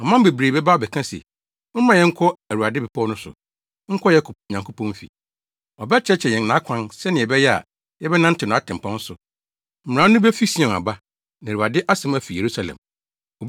Aman bebree bɛba abɛka se, “Mommra mma yɛnkɔ Awurade bepɔw no so, nkɔ Yakob Nyankopɔn fi. Ɔbɛkyerɛkyerɛ yɛn nʼakwan sɛnea ɛbɛyɛ a yɛbɛnantew nʼatempɔn so.” Mmara no befi Sion aba, na Awurade asɛm afi Yerusalem.